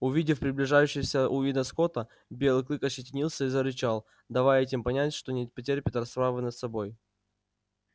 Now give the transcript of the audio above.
увидев приближающегося уидона скотта белый клык ощетинился и зарычал давая этим понять что не потерпит расправы над собой